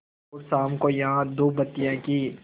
और शाम को यहाँ धूपबत्तियों की